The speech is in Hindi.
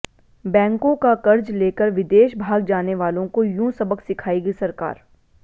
बैंकों का कर्ज लेकर विदेश भाग जाने वालों को यूं सबक सिखाएगी सरकार